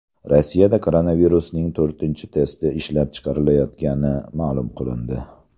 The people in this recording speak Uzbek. Rossiyada koronavirusning to‘rtinchi testi ishlab chiqilayotgani ma’lum qilindi.